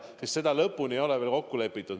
Seda lahendust ei ole veel lõplikult kokku lepitud.